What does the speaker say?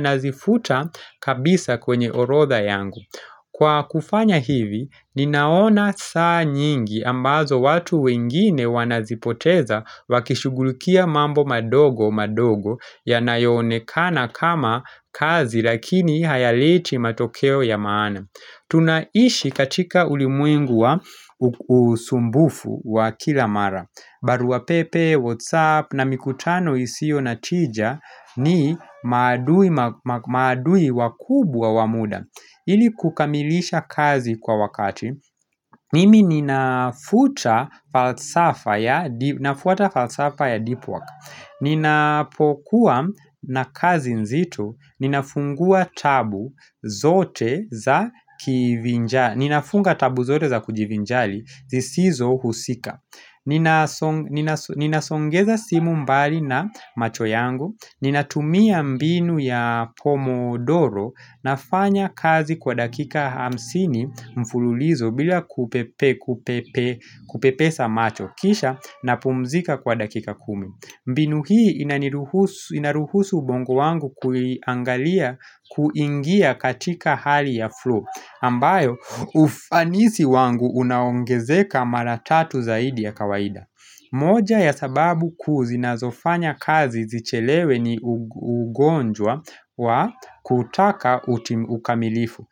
nazifuta kabisa kwenye orodha yangu. Kwa kufanya hivi, ninaona saa nyingi ambazo watu wengine wanazipoteza wakishughulukia mambo madogo madogo yanayonekana kama kazi lakini hayaleti matokeo ya maana. Tunaishi katika ulimwengu usumbufu wa kila mara barua pepe, whatsapp na mikutano isio na tija ni maadui wakubwa wa muda ili kukamilisha kazi kwa wakati Ninanafutata falsafa ya deep work Ninapokuwa na kazi nzito ninafungua tabu zote ninafunga tabu zote za kujivinjari zisizo husika Ninasongeza simu mbali na macho yangu Ninatumia mbinu ya pomodoro nafanya kazi kwa dakika hamsini mfululizo bila kupepeza macho kisha napumzika kwa dakika kumi mbinu hii inaruhusu ubongo wangu kuiangalia kuingia katika hali ya flow, ambayo ufanisi wangu unaongezeka mara tatu zaidi ya kawaida. Moja ya sababu kuu zinazofanya kazi zichelewe ni ugonjwa wa kutaka ukamilifu.